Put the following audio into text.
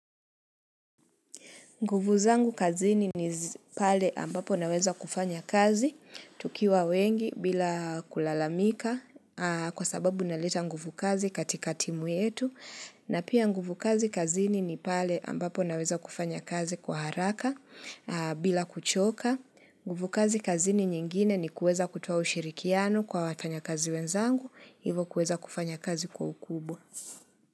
Nguvu zangu kazini ni zi pale ambapo naweza kufanya kazi, tukiwa wengi bila kulalamika kwa sababu naleta nguvu kazi katika timu yetu. Na pia nguvu kazi kazini ni pale ambapo naweza kufanya kazi kwa haraka bila kuchoka. Nguvu kazi kazini nyingine ni kueza kutua ushirikiano kwa watanya kazi wenzangu, hivo kueza kufanya kazi kwa ukubwa.